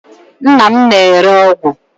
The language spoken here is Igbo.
Nna m na-ere ọgwụ.